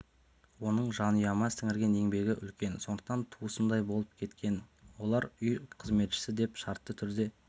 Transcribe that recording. оның жанұяма сіңірген еңбегі үлкен сондықтан туысымдай болып кеткен олар үй қызметшісі деп шартты түрде